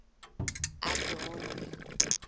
adoni